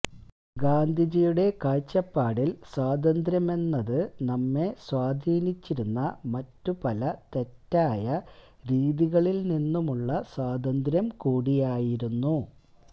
ഗാന്ധിജിയുടെ കാഴ്ചപ്പാടില് സ്വാതന്ത്ര്യമെന്നത് നമ്മെ സ്വാധീനിച്ചിരുന്ന മറ്റു പല തെറ്റായ രീതികളില്നിന്നുമുള്ള സ്വാതന്ത്ര്യം കൂടിയായിരുന്നു